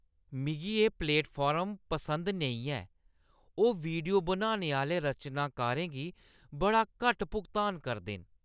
मिगी एह् प्लेटफार्म पसंद नेईं ऐ। ओह् वीडियो बनाने आह्‌ले रचनाकारें गी बड़ा घट्ट भुगतान करदे न।